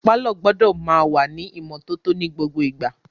Pàlọ́ gbọ́dọ̀ máa wà ní ìmọ́tótó ní gbogbo ìgbà